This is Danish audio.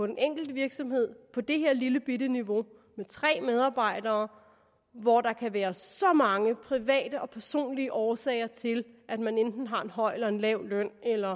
den enkelte virksomhed på det her lillebitte niveau med tre medarbejdere hvor der kan være så mange private og personlige årsager til at man enten har en høj eller lav løn eller